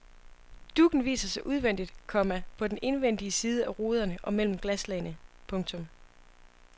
Duggen viser sig udvendigt, komma på den indvendige side af ruderne og mellem glaslagene. punktum